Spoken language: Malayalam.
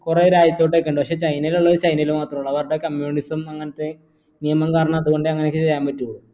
കുറെ രാജ്യത്തോട്ടേക്ക് ഉണ്ട് പക്ഷേ ചൈനയിലുള്ളോർ ചൈനയിൽ മാത്രെ ഉള്ളൂ അവരുടെ communism അങ്ങനത്തെ നിയമം കാരണം അതോണ്ട് അങ്ങനെയേ ചെയ്യാൻ പറ്റു